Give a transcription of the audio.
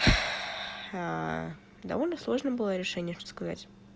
довольно сложно было решение подсказать